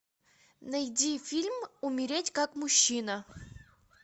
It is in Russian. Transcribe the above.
найди фильм умереть как мужчина